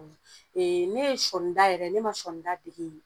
ne ye sɔɔnida yɛrɛ ne ma sɔɔnida dege yen